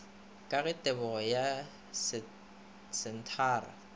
ka ge tebo ya disenthara